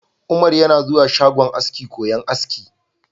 Umar yana zuwa shagon aski koyon aski.